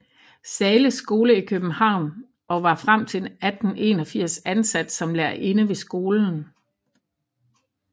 Zahles Skole i København og var frem til 1884 ansat som lærerinde ved skolen